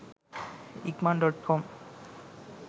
ikman.com